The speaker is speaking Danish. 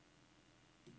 Tinna Gottlieb